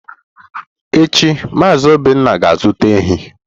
Echi Mazị Obinna ga-azụta ehi.